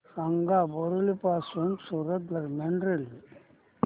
सांगा बोरिवली पासून सूरत दरम्यान रेल्वे